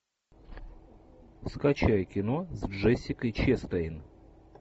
скачай кино с джессикой честейн